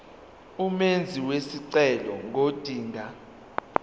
umenzi wesicelo ngodinga